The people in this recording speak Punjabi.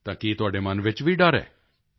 ਤਾਂ ਕੀ ਤੁਹਾਡੇ ਮਨ ਵਿੱਚ ਵੀ ਡਰ ਹੈ